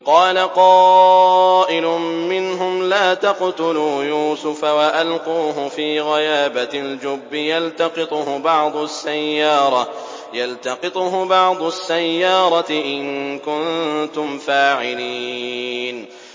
قَالَ قَائِلٌ مِّنْهُمْ لَا تَقْتُلُوا يُوسُفَ وَأَلْقُوهُ فِي غَيَابَتِ الْجُبِّ يَلْتَقِطْهُ بَعْضُ السَّيَّارَةِ إِن كُنتُمْ فَاعِلِينَ